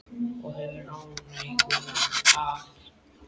Og hefur ánægju af.